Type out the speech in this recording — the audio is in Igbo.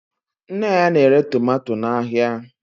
Nne ya na-ere tomato n'ahịa